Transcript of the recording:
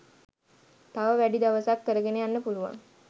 තව වැඩි දවසක් කරගෙන යන්න පුළුවන්